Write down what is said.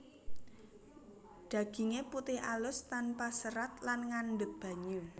Daginge putih alus tanpa serat lan ngandhut banyu